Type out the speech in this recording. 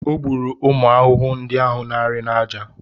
O gburu ụmụ ahụhụ ndị na-arị n’aja.